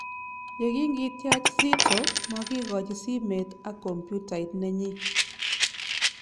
Ye king kityach Zitto, makikachi simet ak kompyutait nenyi